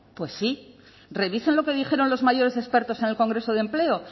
pues sí revisen lo que dijeron los mayores expertos en el congreso de empleo